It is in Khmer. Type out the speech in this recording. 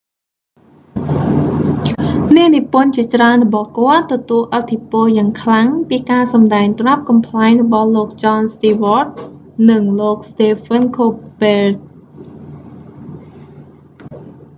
អ្នកនិពន្ធជាច្រើនរបស់គាត់ ទទួលឥទ្ធិពលយ៉ាងខ្លាំងពីការសម្ដែងត្រាប់កំប្លែងរបស់លោក ចន ស្ទីវ៉ដ jon stewart និង លោក ស្តេហ្វិន ខូលប៊ើត stephen colbert